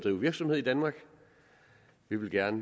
drive virksomhed i danmark vi vil gerne